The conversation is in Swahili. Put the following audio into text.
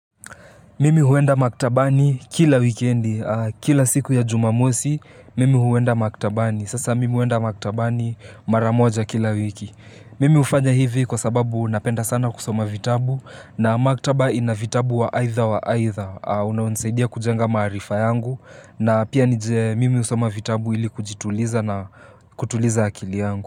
Mimi huenda maktabani kila wikendi, kila siku ya jumamosi, mimi huenda maktabani. Sasa mimi huenda maktabani mara moja kila wiki. Mimi hufanya hivi kwa sababu napenda sana kusoma vitabu na maktaba ina vitabu wa aitha wa aitha. Unaonsaidia kujenga marifa yangu na pia mimi husoma vitabu ili kujituliza na kutuliza akili yangu.